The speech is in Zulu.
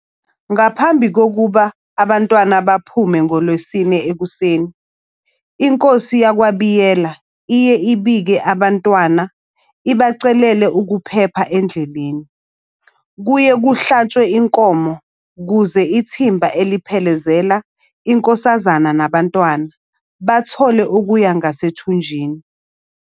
Ngaphambi kokuba abaNtwana baphume ngoLwesine ekuseni, iNkosi yakwaBiyela iye ibike abaNtwana, ibacelele ukuphepha endleleni. Kuye kuhlatshwe inkomo ukuze ithimba eliphelezela iNkosazane nabaNtwana bathole okuya ngasethunjini.